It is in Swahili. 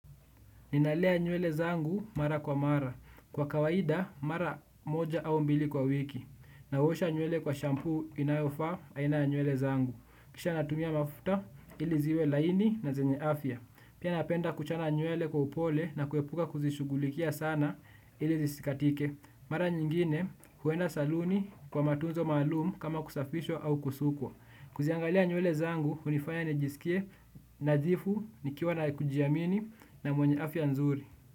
Ninalea nywele zangu mara kwa mara. Kwa kawaida mara moja au mbili kwa wiki. Naosha nywele kwa shampoo inayofaa aina ya nywele zangu. Kisha natumia mafuta ili ziwe laini na zenye afya. Pia napenda kuchana nywele kwa upole na kuepuka kuzishughulikia sana ili zisikatike. Mara nyingine huenda saluni kwa matunzo maalum kama kusafishwa au kusukwa. Kuziangalia nywele zangu hunifanya nijisikie nadhifu nikiwa na kujiamini na mwenye afya nzuri.